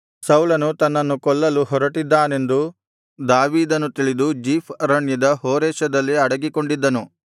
ಸೌಲನು ತನ್ನನ್ನು ಕೊಲ್ಲಲು ಹೊರಟಿದ್ದಾನೆಂದು ದಾವೀದನು ತಿಳಿದು ಜೀಫ್ ಅರಣ್ಯದ ಹೋರೆಷದಲ್ಲಿ ಅಡಗಿಕೊಂಡಿದ್ದನು